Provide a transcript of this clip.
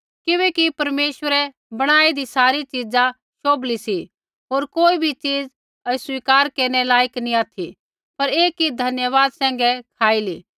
किबैकि परमेश्वरै बणाईदी सारी च़ीज़ा शोभली सी होर कोई बी च़ीज़ अस्वीकार केरनै लायक नी ऑथि पर ऐ कि धन्यवादा सैंघै खाइली